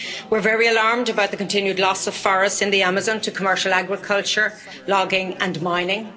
We're very alarmed about the continued loss of forests in the Amazon to commercial agriculture, logging and mining.